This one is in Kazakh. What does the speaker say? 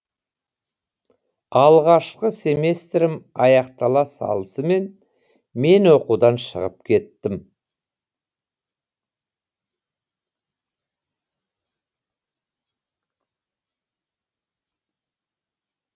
алғашқы семестрім аяқтала салысымен мен оқудан шығып кеттім